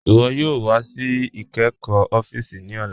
Iwọ yoo wà sí ìkẹ́kọ́ òfíìsì ní ọ̀là.